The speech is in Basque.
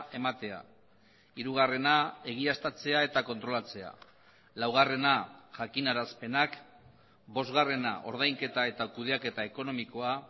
ematea hirugarrena egiaztatzea eta kontrolatzea laugarrena jakinarazpenak bosgarrena ordainketa eta kudeaketa ekonomikoa